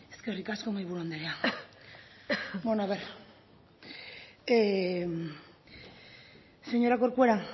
eskerrik asko mahaiburu andrea bueno a ver señora corcuera